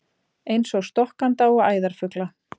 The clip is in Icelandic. Eins og stokkanda og æðarfugla?